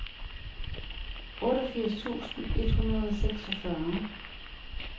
otteogfirs tusind et hundrede og seksogfyrre